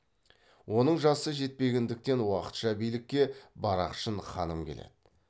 оның жасы жетпегендіктен уақытша билікке барақшын ханым келеді